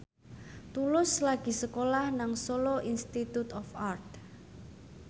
Tulus lagi sekolah nang Solo Institute of Art